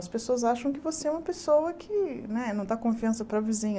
As pessoas acham que você é uma pessoa que né não dá confiança para a vizinha.